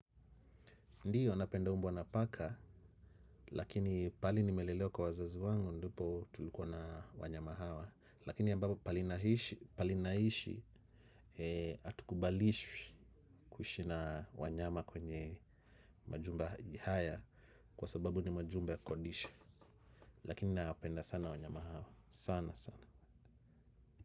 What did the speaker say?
Ndiyo napenda mbwa na paka lakini pali nimelelewa kwa wazazi wangu ndipo tulikuwa na wanyama hawa. Lakini ambapo palinaishi atukubalishwi kuishi na wanyama kwenye majumba haya kwa sababu ni majumba kukodisha. Lakini napenda sana wanyama hawa sana sana.